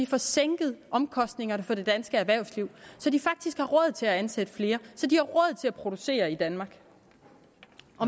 får sænket omkostningerne for det danske erhvervsliv så de faktisk har råd til at ansætte flere så de har råd til at producere i danmark